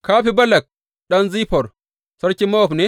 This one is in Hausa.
Ka fi Balak ɗan Ziffor, sarkin Mowab ne?